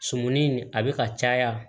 Sumuni a bɛ ka caya